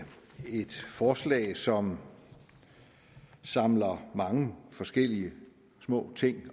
et forslag som samler mange forskellige små ting